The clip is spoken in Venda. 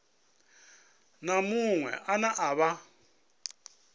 na muṅwe ane a vha